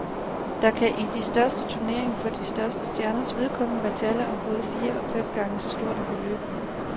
Der kan i de største turneringer for de største stjerners vedkommende være tale om både fire og fem gange så stort et beløb.